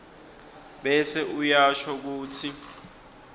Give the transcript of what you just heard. bese uyasho kutsi